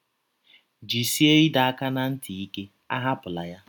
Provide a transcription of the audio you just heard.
Jisie ịdọ aka ná ntị ike; ahapụla ya.